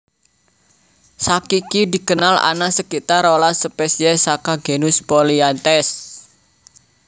Sakiki dikenal ana sekitar rolas spesies saka genus Polianthes